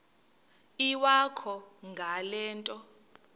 iwakho ngale nto